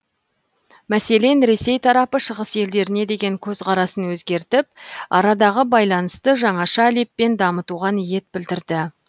мәселен ресей тарапы шығыс елдеріне деген көзқарасын өзгертіп арадағы байланысты жаңаша леппен дамытуға ниет білдірді